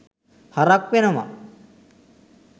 හරක් වෙනව